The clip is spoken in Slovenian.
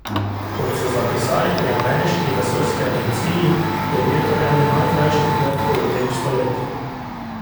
Kot so zapisali pri ameriški vesoljski agenciji, je bil to eden najkrajših mrkov v tem stoletju.